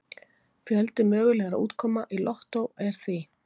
Fjöldi mögulegra útkoma í lottó er því